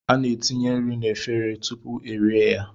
A na-etinye nri na-efere tupuu e rie ya.